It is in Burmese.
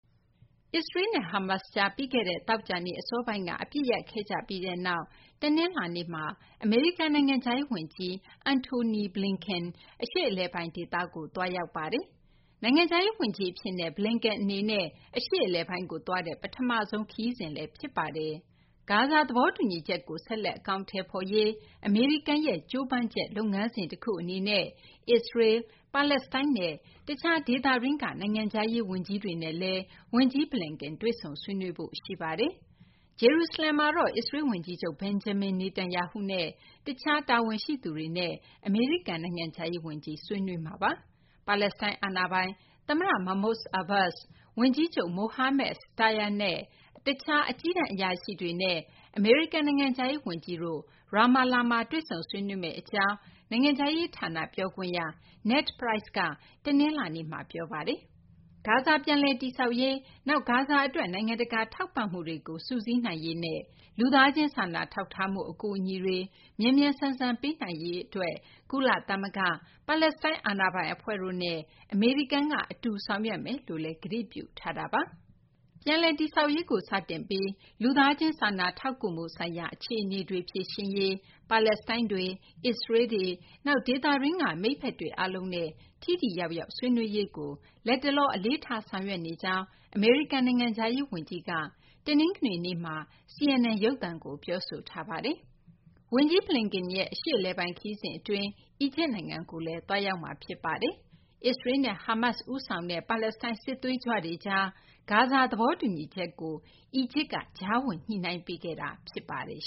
အစ္စရေးနဲ့ Hamas ကြား ပြီးခဲ့တဲ့ သောကြာနေ့ အစောပိုင်းက အပစ်ရပ်ခဲ့ကြပြီးနောက် တနလာၤနေ့မှာ အမေရိကန် နိုင်ငံခြားရေး ဝန်ကြီး Antony Blinken အရှေ့အလယ်ပိုင်း ဒေသကို သွားရောက်ပါတယ်။ နိုင်ငံခြားရေး ဝန်ကြီး အဖြစ် Blinken အနေနဲ့ အရှေ့အလယ်ပိုင်းကို သွားတဲ့ ပထမဆုံး ခရီးစဉ်လည်း ဖြစ်ပါတယ်။ ဂါဇာ သဘောတူညီချက်ကို ဆက်လက် အကောင်အထည်ဖော်ရေး အမေရိကန်ရဲ့ ကြိုးပမ်းချက် လုပ်ငန်းစဉ် တခု အနေနဲ့ အစ္စရေးလ်၊ ပါလက်စတိုင်းနဲ့ တခြား ဒေသတွင်းက နိုင်ငံခြားရေး ဝန်ကြီးတွေနဲ့ ဝန်ကြီး Blinken တွေ့ဆုံ ဆွေးနွေးမှာ ဖြစ်ပါတယ်။ ဂျေရုစလမ်မှာ အစ္စရေးလ် ဝန်ကြီးချုပ် Benjamin Netanyahu နဲ့ တခြား အရာရှိတွေနဲ့လည်း အမေရိကန် နိုင်ငံခြားရေး ဝန်ကြီး ဆွေးနွေးဖို့ ရှိပါတယ်။ ပါလက်စတိုင်း အာဏာပိုင် သမ္မတ Mahmoud Abbas၊ ဝန်ကြီးချုပ် Mohammad Shtayyeh နဲ့ တခြား အကြီးတန်း အရာရှိတွေနဲ့ အမေရိကန် နိုင်ငံခြားရေး ဝန်ကြီးတို့ Ramallah မှာ တွေ့ဆုံ ဆွေးနွေးမယ့် အကြောင်း နိုင်ငံခြားရေး ဌာန ပြောခွင့်ရ Ned Price က တနလာၤနေ့မှာ ပြောပါတယ်။ ဂါဇာ ပြန်လည်တည်ဆောက်ရေး၊ နောက် ဂါဇာအတွက် နိုင်ငံတကာ ထောက်ပံ့မှုတွေကို စုစည်းနိုင်ရေးနဲ့ လူသားချင်း စာနာထောက်ထားမှု အကူအညီတွေ မြန်မြန်ဆန်ဆန် ပေးနိုင်ရေး အတွက် ကုလသဂ္ဂ၊ ပါလက်စတိုင်း အာဏာပိုင် အဖွဲ့တို့နဲ့ အမေရိကန်က အတူ ဆောင်ရွက်သွားမယ်လို့လည်း ကတိပြုထားတာပါ။ ပြန်လည် တည်ဆောက်ရေးကို စတင်ပြီး လူသားချင်း စာနာထောက်ကူမှုဆိုင်ရာ အခြေအနေတွေ ဖြေရှင်းရေး၊ ပါလက်စတိုင်းတွေ၊ အစ္စရေးလ်တွေ၊ နောက် ဒေသတွင်းက မိတ်ဖက်တွေ အားလုံးနဲ့ ထိထိရောက်ရောက် ဆွေးနွေးရေးကို လတ်တလော အလေးထား ဆောင်ရွက်နေကြောင်း အမေရိကန် နိုင်ငံခြားရေး ဝန်ကြီး Blinken က တနင်္ဂနွေနေ့တုန်းက CNN ရုပ်သံကို ပြောဆိုထားပါတယ်။ ဝန်ကြီး Blinken ရဲ့ အရှေ့အလယ်ပိုင်း ခရီးစဉ် အတွင်း အီဂျစ်နိုင်ငံကိုလည်း သွားရောက်မှာ ဖြစ်ပါတယ်။ အစ္စရေးလ်နဲ့ Hamas ဦးဆောင်တဲ့ ပါလက်စတိုင်း စစ်သွေးကြွတွေကြား ဂါဇာ သဘောတူညီချက်ကို အီဂျစ်က ကြားဝင် ညှိနှိုင်းပေးခဲ့တာ ဖြစ်ပါတယ်